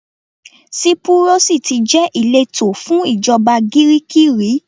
Sípúrọ́sì tí jẹ́ ìletò fún ìjọba Gíríìkì rí.